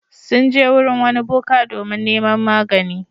Sun je wurin wani boka domin neman magani.